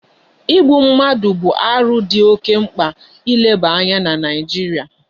Igbu mmadu bu aru di oke mkpa ileba anya na naijiria